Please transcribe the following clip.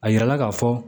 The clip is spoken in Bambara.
A yirala ka fɔ